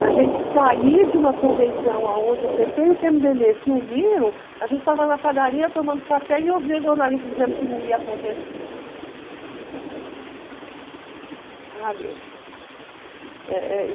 Na gente sair de uma convenção aonde o pê pê e o pê eme dê bê se uniram, a gente estava na padaria tomando café e ouvia o jornalista dizendo que não ia acontecer